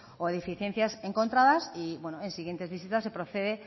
o deficiencias encontradas y en siguientes visitas se procede